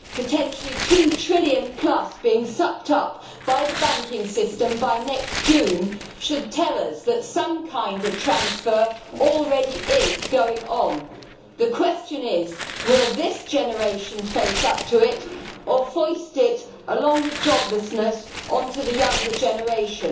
Potentially 2 trillion plus being sucked up by the banking system by next June should tell us that some kind of transfer already is going on. The question is will this generation face up to it or foist it, along with joblessness, on to the younger generation?